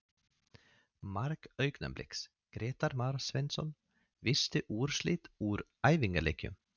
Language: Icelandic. Mark Augnabliks: Grétar Már Sveinsson Veistu úrslit úr æfingaleikjum?